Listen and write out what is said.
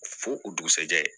Fo o dugusɛjɛ